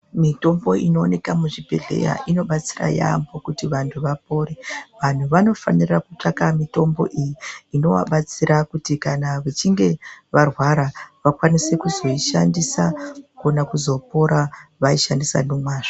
Mitombo inooneka muzvibhedhlera inobatsira yaamho kuti vantu vapore. Vantu vanofanira kutsvaka mitombo iyi inovabatsira kuti kana vechinge varwara vakwanise kuzoishandisa, vanokona kuzopora vaishandisa nomazvo.